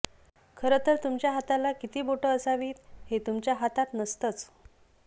खरंतर तुमच्या हाताला किती बोटं असावीत हे तुमच्या हातात नसतंच